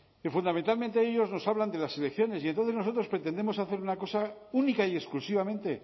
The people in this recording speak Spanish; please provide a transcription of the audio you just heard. que fundamentalmente ellos nos hablan de las elecciones y entonces nosotros pretendemos hacer una cosa única y exclusivamente